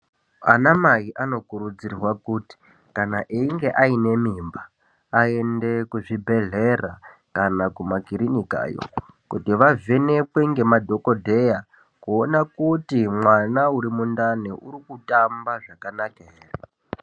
Anamai anokurudzirwa kuti kana einge ane mimba aende kuzvibhedhlera kana kumakilinikayo kuti vavhenekwe nemadhogodheya kuona kuti mwana urimundani urikutamba zvakanaka here?.